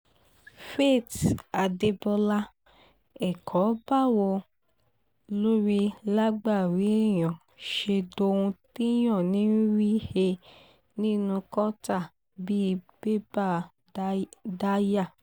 faith adébọlá ẹ̀kọ́ báwo lórí lágbárí èèyàn ṣe dohun téèyàn ń rí he nínú kọ́tà bíi bébà daya